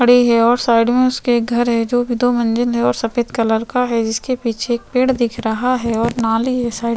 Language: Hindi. खड़े है और उसके साइड मै घर है जो की दो मजिल है और सफ़ेद कलर का है जिसके पीछे पेड़ दिख रहा है और नाली है साइड --